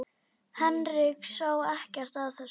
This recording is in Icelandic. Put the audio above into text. Henrik sá ekkert að þessu.